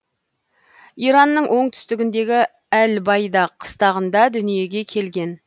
иранның оңтүстігіндегі әл байда қыстағында дүниеге келген